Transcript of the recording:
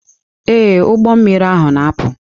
Ee, ụgbọ mmiri ahụ na-apụ.